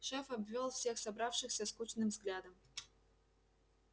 шеф обвёл всех собравшихся скучным взглядом